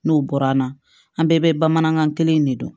N'o bɔra an na an bɛɛ bɛ bamanankan kelen in de don